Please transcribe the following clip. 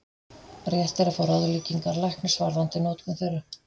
Rétt er að fá ráðleggingar læknis varðandi notkun þeirra.